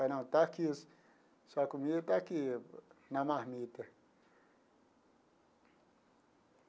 Aí, não, está aqui, sua comida está aqui, na marmita.